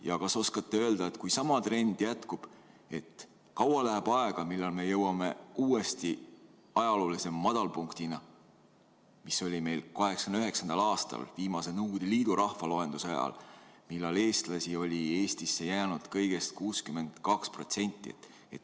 Ja kas te oskate öelda, kui sama trend jätkub, siis kui kaua läheb aega, kuni me jõuame uuesti ajaloolise madalpunktini, mis oli meil 1989. aastal viimase Nõukogude Liidu rahvaloenduse ajal, mil eestlasi oli Eestisse jäänud kõigest 62%?